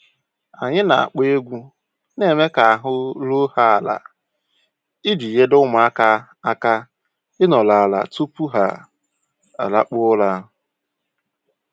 Anyị na-akpọ egwu na-eme ka ahụ́ ruo ha ala iji nyere ụmụaka aka ịnoru ala tupu ha alakpuo ụra.